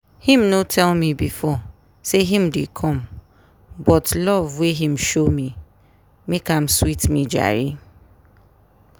him no tell me before say him dey come but love wey him show me make am sweet me jare